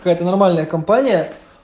это нормальная компания